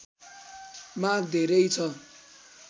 माग धेरै छ